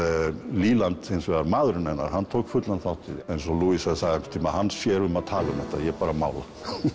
leland hins vegar maðurinn hennar tók fullan þátt í þeim eins og sagði einhvern tíma hann sér um að tala um þetta ég bara mála